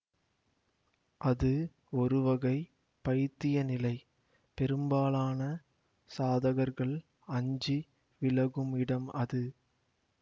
அது ஒருவகை பைத்திய நிலை பெரும்பாலான சாதகர்கள் அஞ்சி விலகும் இடம் அது